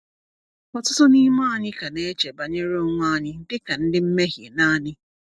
Ọtụtụ n’ime anyị ka na-eche banyere onwe anyị dị ka ndị mmehie naanị.